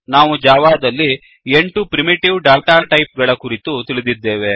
ನಾವು ಜಾವಾದಲ್ಲಿ 8 primitive data type ಗಳ ಕುರಿತು ತಿಳಿದಿದ್ದೇವೆ